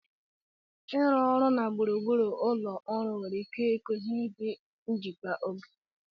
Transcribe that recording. Ịrụ ọrụ na gburugburu ụlọ ọrụ nwere ike ịkụziri gị njikwa oge.